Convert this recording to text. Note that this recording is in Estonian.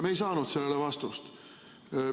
Me ei saanud sellele vastust.